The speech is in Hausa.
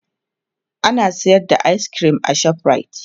ana sayar da ayis kirim a shoprite